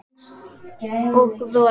Hann var eins og rola.